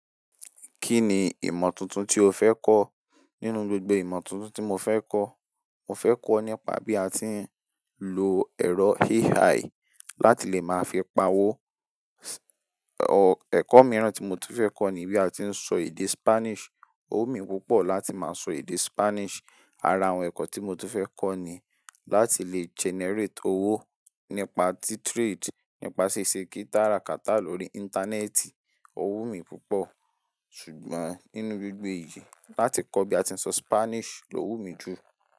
Kí ni ìmọ̀ tuntun tí o fẹ́ kọ́? Nínú gbogbo ìmọ̀ tuntun tí mo fẹ́ kọ́, mo fẹ́ kọ́ nípa bí a ti ń lo ẹ̀rọ AI láti lè máa fi pawó. Ọ̀, ẹ̀kọ́ mìíràn tí mo tún fẹ́ kọ́ ni bí a ti ń sọ èdè Spanish. Ò wumi púpọ̀ láti máa sọ èdè Spanish. Ara àwọn ẹ̀kọ́ tí mo tún fẹ́ kọ́ ni láti lè generate owó nípa tí trade, nípa ṣíṣe kara kata lórí Íńtánẹ́ẹ̀tì, ò wù mí púpọ̀. Ṣùgbọ́n nínú gbogbo èyí, láti kọ́ bí a ti ń sọ Spanish lò wù mí jù.